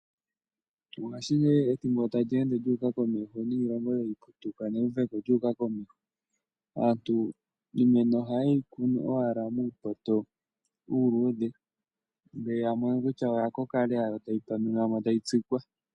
Mongaashingeyi ethimbo sho tali ende lyu uka komeho niilongo tayi putuka newuveko lya uka komeho, aantu iimeno ohaye yi kunu owala muupoto uuludhe, ngele ya mono kutya oya koka lela, tayeyi panunamo yo tayi tsikwa.